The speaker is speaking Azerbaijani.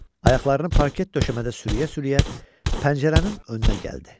Ayaqlarını parket döşəmədə sürüyə-sürüyə pəncərənin önünə gəldi.